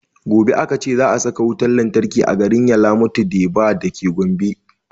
Gobe aka ce za a saka wutan lantarki a garin yalamatu deba dake gombe